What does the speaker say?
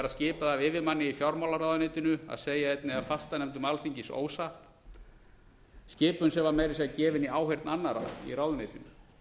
skipað af yfirmanni í fjármálaráðuneytinu að segja einni af fastanefndum alþingis ósatt skipun sem var meira að segja gefin í áheyrn annarra í ráðuneytinu